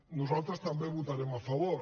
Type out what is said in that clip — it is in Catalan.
nosaltres també hi votarem a favor